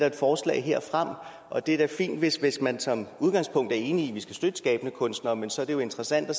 et forslag og det er da fint hvis hvis man som udgangspunkt er enig i at vi skal støtte de skabende kunstnere men så er det jo interessant at